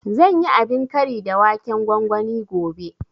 Zan yi abin kari da waken gwangwani gobe